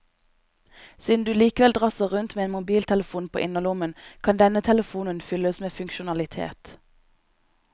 Siden du likevel drasser rundt med en mobiltelefon på innerlommen, kan denne telefonen fylles med funksjonalitet.